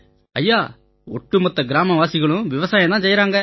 ஐயா ஒட்டுமொத்த கிராமவாசிகளும் விவசாயம் செய்யறாங்க